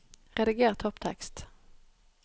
Rediger topptekst